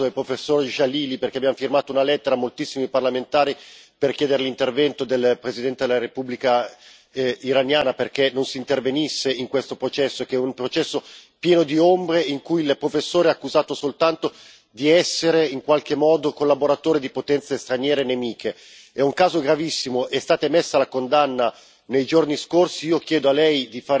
Ci siamo già occupati in questo Parlamento del caso del professore Djalali, perché abbiamo firmato una lettera insieme a moltissimi parlamentari per chiedere l'intervento del presidente della Repubblica islamica dell'Iran perché non si intervenisse in questo processo, che è un processo pieno di ombre in cui il professore è accusato soltanto di essere, in qualche modo, collaboratore di potenze straniere nemiche. È un caso gravissimo è stata emessa la condanna